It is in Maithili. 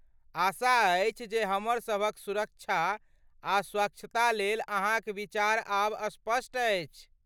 आशा अछि जे हमर सभक सुरक्षा आ स्वच्छता लेल अहाँक विचार आब स्पष्ट अछि।